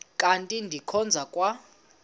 kanti ndikhonza kwa